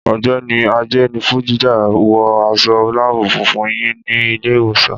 Ọ̀gbẹ́ni Ajenifuja, wọ aṣọ láàbù funfun yín ní ilé ìwòsàn.